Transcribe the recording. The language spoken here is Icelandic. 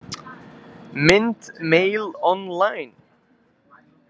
Mynd Mail Online.